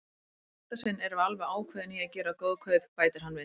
Í þetta sinn erum við alveg ákveðin í að gera góð kaup, bætir hann við.